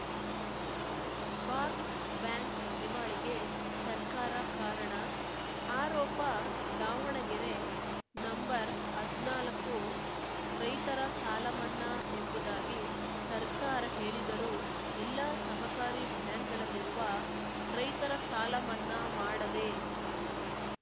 box bank ದಿವಾಳಿಗೆ ಸರ್ಕಾರ ಕಾರಣ ಆರೋಪ ದಾವಣಗೆರೆ ನಂಬರ್ಹದ್ನಾಲ್ಕು ರೈತರ ಸಾಲ ಮನ್ನಾ ಎಂಬುದಾಗಿ ಸರ್ಕಾರ ಹೇಳಿದರೂ ಎಲ್ಲಾ ಸಹಕಾರಿ ಬ್ಯಾಂಕ್‌ಗಳಲ್ಲಿರುವ ರೈತರ ಸಾಲ ಮನ್ನಾ ಮಾಡದೇ